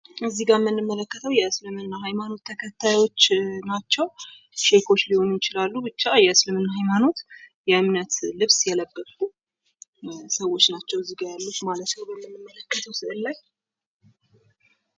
እዚህ ጋ የምንመለከተው የእስልምና ሃይማኖት ተከታዮች ናቸው። ሸሆች ሊሆኑ ይችላሉ ብቻ የእስልምና ሃይማኖት የእምነት ልብስ የለበሱ ሰዎች ናቸው እዚህ ጋር ያሉት ማለት ነው። እዚህ ስዕል ላይ።